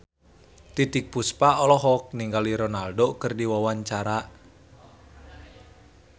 Titiek Puspa olohok ningali Ronaldo keur diwawancara